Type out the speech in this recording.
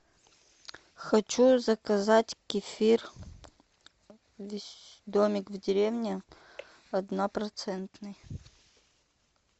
хочу заказать кефир домик в деревне однопроцентный